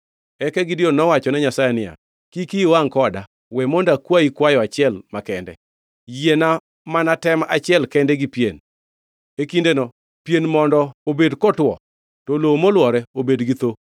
Eka Gideon nowachone Nyasaye niya, “Kik iyi wangʼ koda. We mondo akwayi kwayo achiel makende. Yiena mana tem achiel kende gi pien. E kindeno, pien mondo obed kotwo, to lowo molwore obed gi thoo.”